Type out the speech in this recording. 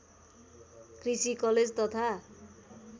कृषि कलेज तथा